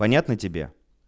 понятно тебе